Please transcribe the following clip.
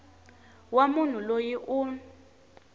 wa munhu loyi u n